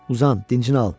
Uzan, dincini al.